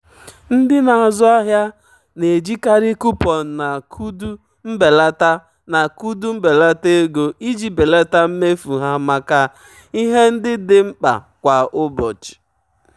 ndị na-azụ ahịa na-ejikarị kupọn na koodu mbelata na koodu mbelata ego iji belata mmefu ha maka ihe ndị dị mkpa kwa ụbọchị.